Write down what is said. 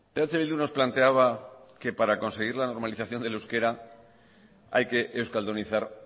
eh bildu nos planteaba que para conseguir la normalización del euskera hay que euskaldunizar